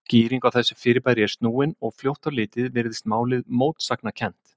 Skýring á þessu fyrirbæri er snúin, og fljótt á litið virðist málið mótsagnakennt.